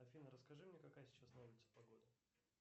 афина расскажи мне какая сейчас на улице погода